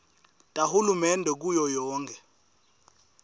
tahulumende kuyo yonkhe